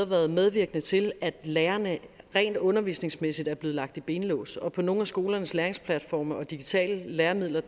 været medvirkende til at lærerne rent undervisningsmæssigt er blevet lagt i benlås og på nogle af skolernes læringsplatforme og digitale læremidler